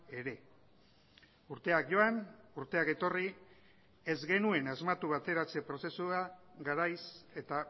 ere urteak joan urteak etorri ez genuen asmatu bateratze prozesua garaiz eta